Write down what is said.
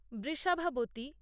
Vrishabhavati